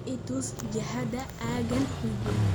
i tus jihada aaggan hagee